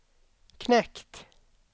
knekt